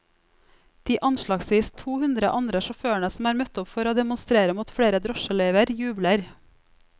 De anslagsvis to hundre andre sjåførene som er møtt opp for å demonstrere mot flere drosjeløyver, jubler.